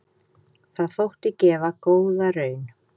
Það þótti gefa góða raun.